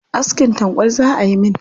Askin tanƙwal za ayi min.